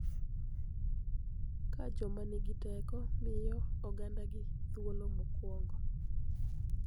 Ka joma nigi teko miyo ogandagi thuolo mokuongo.